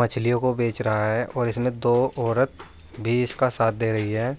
मछलियों को बेच रहा है और इसमें दो औरत भी इसका साथ दे रही है।